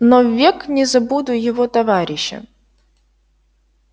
но ввек не забуду его товарища